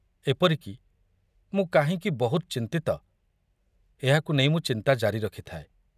ଏପରିକି, ମୁଁ କାହିଁକି ବହୁତ ଚିନ୍ତିତ ଏହାକୁ ନେଇ ମୁଁ ଚିନ୍ତା ଜାରି ରଖିଥାଏ।